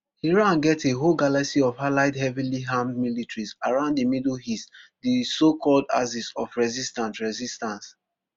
iran get a whole galaxy of allied heavilyarmed militias around di middle east di socalled axis of resistance resistance